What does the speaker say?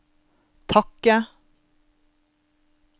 takke